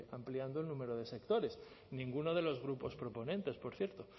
ampliando el número de sectores ninguno de los grupos proponentes por cierto